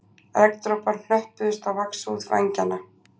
Regndropar hnöppuðust á vaxhúð vængjanna